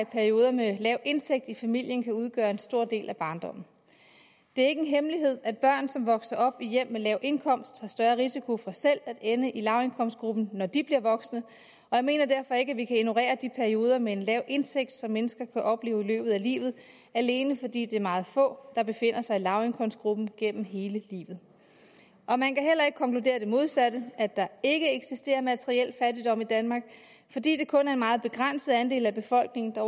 perioder med lav indtægt i familien kan udgøre en stor del af barndommen det er ikke en hemmelighed at børn som vokser op i hjem med lav indkomst har større risiko for selv at ende i lavindkomstgruppen når de bliver voksne og jeg mener derfor ikke vi kan ignorere de perioder med en lav indtægt som mennesker kan opleve i løbet af livet alene fordi det er meget få der befinder sig i lavindkomstgruppen gennem hele livet man kan heller ikke konkludere det modsatte at der ikke eksisterer materiel fattigdom i danmark fordi det kun er en meget begrænset andel af befolkningen der